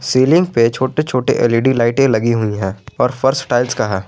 Ceiling पे छोटे छोटे एल_ई_डी लाइटे लगी हुई हैं और फर्श टाइल्स का है।